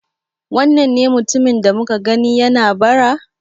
Wannan ne mutumin da muka gani yana bara?